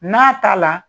N'a t'a la